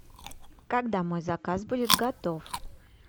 когда мой заказ будет готов